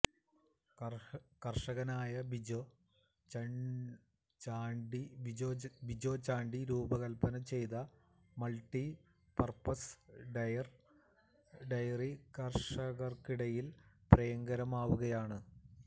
കര്ഷകനായ ബിജോ ചാണ്ടിരൂപകല്പ്പന ചെയ്ത multi purpose dryer കര്ഷകര്ക്കിടയില് പ്രിയങ്കരമാവുകയാണ്